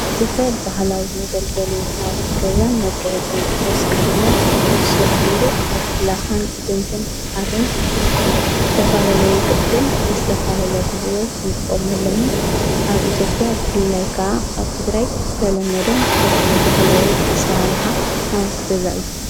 ዝፈብ ብሃላዊት መገልገሊ ናወት ገዛን መጊሒጽሙ ተሳኽ ድማ ስፈን ስርሑሉ ካብ ላኻን እድንትን ሃርን ምስተፋለለዩ ቕድል ምስተፋለልያ ኽልብሎት እንቆምሎምን ኣብ ኢቲጴያ ብፍልላይካዓ ኣብ ቲ ግራይት ዝተሎመደን ትፈታዊ ብሃላዊ ኣሠራርኃ ናወት ገዛ እዩ።